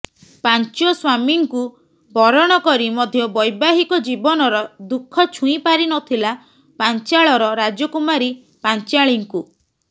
ପାଞ୍ଚ ସ୍ୱାମୀଙ୍କୁ ବରଣ କରି ମଧ୍ୟ ବୈବାହିକ ଜୀବନର ଦୁଃଖ ଛୁଇଁ ପାରିନଥିଲା ପାଞ୍ଚାଳର ରାଜକୁମାରୀ ପାଞ୍ଚାଳୀଙ୍କୁ